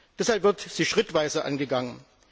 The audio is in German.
Deshalb wird sie schrittweise angegangen.